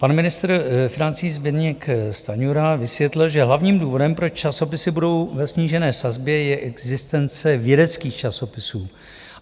Pan ministr financí Zbyněk Stanjura vysvětlil, že hlavním důvodem, proč časopisy budou ve snížené sazbě, je existence vědeckých časopisů.